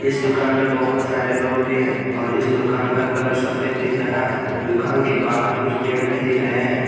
और इस दुकान में बहुत सारे लोग भी हैं और इस दुकान का कलर सफेद दिख रहा है दुकान के बाहर कुछ पेड़ भी दिख रहे हैं।